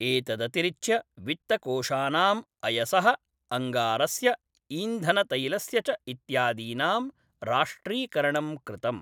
एतदतिरिच्य वित्तकोशानां अयसः, अङ्गारस्य, ईन्धनतैलस्य च इत्यादीनां राष्ट्रीकरणं कृतम्।